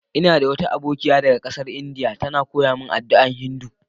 Ina da wata abokiya daga kasan lndia, ta na koyya mun yin addu'a a Hindu.